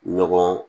Ɲɔgɔn